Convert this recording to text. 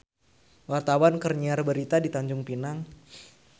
Wartawan keur nyiar berita di Tanjung Pinang